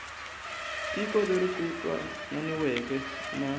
tiko leri ku twananiweke na